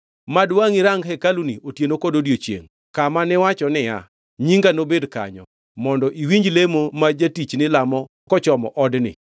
Mad wangʼi rang hekaluni otieno kod odiechiengʼ, kama niwacho niya, ‘Nyinga nobed kanyo,’ mondo iwinji lemo ma jatichni lamo kochomo odni.